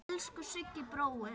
Elsku Siggi bróðir.